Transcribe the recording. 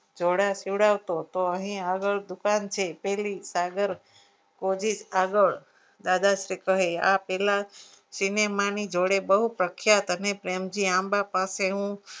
જોડા સીવડાવતો તો અહીં આગળ દુકાન છે પહેલી સાગર આગળ દાદા શ્રી કહે આ પહેલા cinema ની જોડે બહુ પ્રખ્યાત અને પ્રેમજી આંબા પાસે હું